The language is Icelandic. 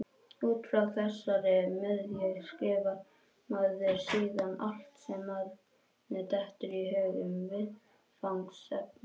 Út frá þessari miðju skrifar maður síðan allt sem manni dettur í hug um viðfangsefnið.